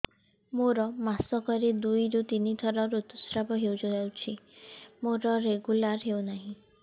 ମୋର ମାସ କ ରେ ଦୁଇ ରୁ ତିନି ଥର ଋତୁଶ୍ରାବ ହେଇଯାଉଛି ମୋର ରେଗୁଲାର ହେଉନାହିଁ